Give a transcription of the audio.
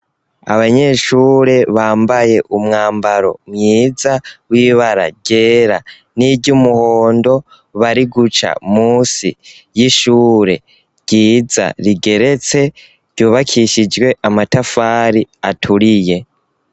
Abanyeshure bambaye umwambaro mwiza w’ibara ryera niry'umuhondo bari guca musi y’ishure ryiza rigeretse ryubakishijwe amatafari atuyuriye.